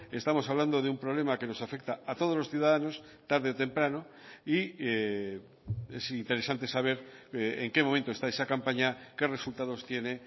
estamos hablando de un problema que nos afecta a todos los ciudadanos tarde o temprano y es interesante saber en qué momento está esa campaña qué resultados tiene